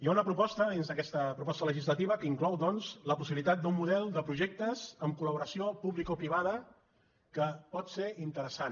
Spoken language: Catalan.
hi ha una proposta dins d’aquesta proposta legislativa que inclou doncs la possibilitat d’un model de projectes amb col·laboració publicoprivada que pot ser interessant